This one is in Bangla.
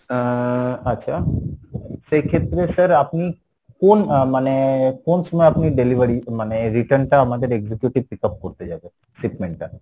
আহ আচ্ছা সেই ক্ষেত্রে sir আপনি কোন আহ মানে কোন সময়ে আপনি delivery মানে return টা আমাদের executive pick up করতে যাবে shipment টা?